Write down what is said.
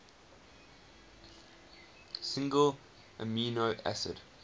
single amino acid